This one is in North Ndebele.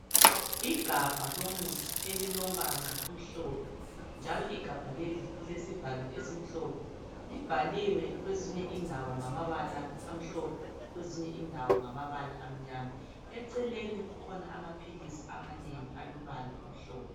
Igabha lomuthi elilombala omhlophe njalo igabha leli lilesivalo esimhlophe libhaliwe kwezinye indawo ngamabala amhlophe kwezinye indawo ngamabala amnyama. Eceleni kukhona amaphilisi amanengi alombala omhlophe.